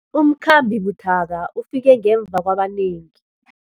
Umkhambi buthaka ufike ngemva kwabanengi.